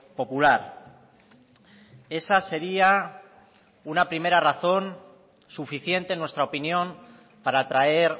popular esa sería una primera razón suficiente en nuestra opinión para traer